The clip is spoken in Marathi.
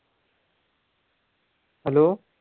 hello